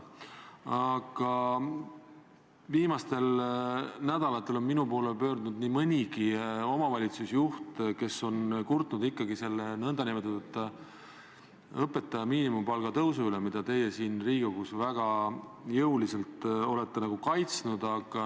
Aga viimastel nädalatel on minu poole pöördunud nii mõnigi omavalitsusjuht, kes on kurtnud ikkagi selle nn õpetaja miinimumpalga tõusu üle, mida teie siin Riigikogus väga jõuliselt olete kaitsnud.